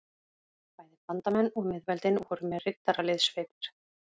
Bæði bandamenn og miðveldin voru með riddaraliðssveitir.